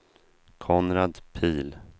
Konrad Pihl